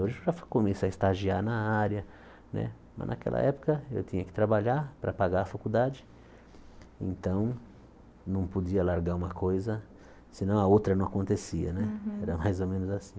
Hoje começa a estagiar na área né, mas naquela época eu tinha que trabalhar para pagar a faculdade, então não podia largar uma coisa, senão a outra não acontecia né Uhum, era mais ou menos assim.